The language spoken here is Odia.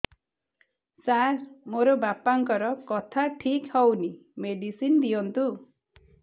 ସାର ମୋର ବାପାଙ୍କର କଥା ଠିକ ହଉନି ମେଡିସିନ ଦିଅନ୍ତୁ